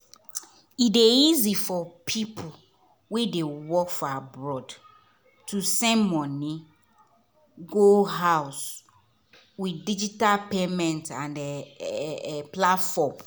e dey easy for people wey dey work for abroad to send money go house with digital payment and um platform.